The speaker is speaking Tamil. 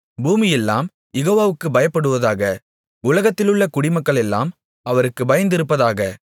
பூமியெல்லாம் யெகோவாவுக்குப் பயப்படுவதாக உலகத்திலுள்ள குடிமக்களெல்லாம் அவருக்கு பயந்திருப்பதாக